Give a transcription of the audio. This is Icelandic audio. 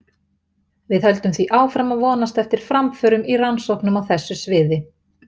Við höldum því áfram að vonast eftir framförum í rannsóknum á þessu sviði.